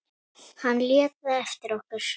Hann lét það eftir okkur.